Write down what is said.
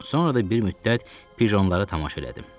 Sonra da bir müddət pijonlara tamaşa elədim.